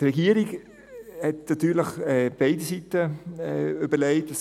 Die Regierung hat sich natürlich zu beiden Seiten etwas überlegt.